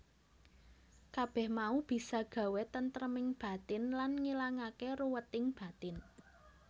Kabeh mau bisa gawé tentreming batin lan ngilangake ruweting batin